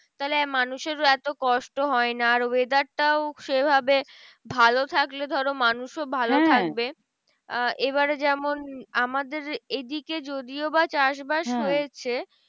তাহলে মানুষের এত কষ্ট হয় না। আর weather টাও সেভাবে ভালো থাকলে ধরো মানুষও ভালো থাকবে। আহ এবারে যেমন আমাদের এ দিকে যদিও বা চাষবাস হয়েছে